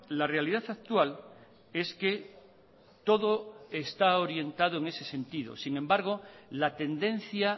la realidad actual es que todo está orientado en ese sentido sin embargo la tendencia